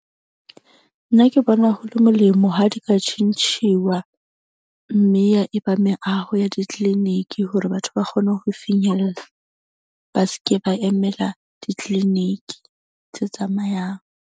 Nna ke bona ho le molemo ha di ka tjhentjhuwa. Mme ya eba meaho ya di-clinic-i hore batho ba kgone ho finyella, ba seke ba emela di-clinic-i tse tsamayang.